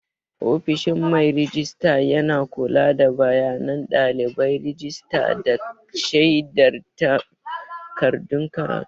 Ofishin mai rejista yana kula da bayanan ɗalibai, rajista, da shaidar takardun karatu.